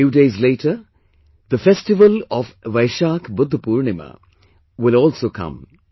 A few days later, the festival of Vaishakh Budh Purnima will also come